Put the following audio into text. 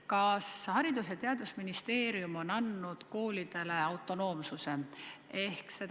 Kas Haridus- ja Teadusministeerium on andnud koolidele autonoomsuse?